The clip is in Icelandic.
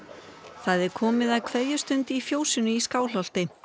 það er komið að kveðjustund í fjósinu í Skálholti